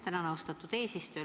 Tänan, austatud eesistuja!